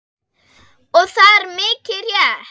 Og það er mikið rétt.